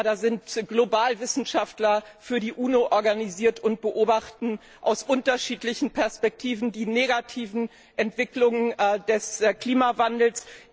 Da sind Globalwissenschaftler für die UNO organisiert und beobachten aus unterschiedlichen Perspektiven die negativen Entwicklungen des Klimawandels.